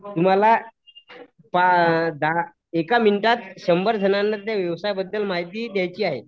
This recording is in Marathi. तुम्हला एका मिनिटात शंभर जणांना व्यवसाय बद्दल माहिती द्यायची आहे